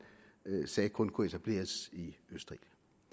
sagde kun kunne etableres i østerild